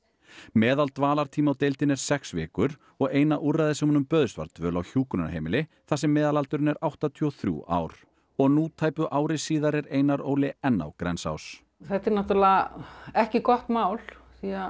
meðaldvalartími á deildinni er sex vikur og eina úrræðið sem honum bauðst var dvöl á hjúkrunarheimili þar sem meðalaldurinn er áttatíu og þrjú ár og nú tæpu ári síðar er Einar Óli enn á Grensás þetta er ekki gott mál því að